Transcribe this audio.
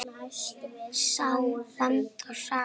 Land og Saga.